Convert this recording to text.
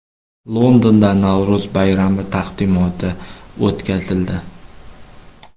Londonda Navro‘z bayrami taqdimoti o‘tkazildi.